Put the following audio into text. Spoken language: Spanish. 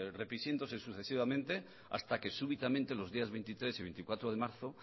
sucesivamente hasta que súbitamente los días veintitrés y veinticuatro de marzo